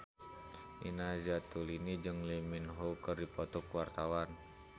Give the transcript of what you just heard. Nina Zatulini jeung Lee Min Ho keur dipoto ku wartawan